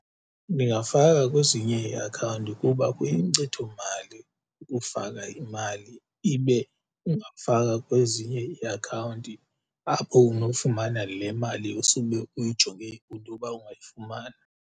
Ndingafaka kwezinye iiakhawunti kuba kuyinkcitho mali ukufaka imali ibe ungafaka kwezinye iiakhawunti apho unofumana le mali usube uyijonge intoba ungayifumana.